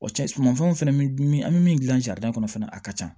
Wa cɛ sumanfɛnw fɛnɛ an be min gilan sarida kɔnɔ fana a ka ca